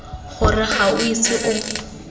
gore ga o ise o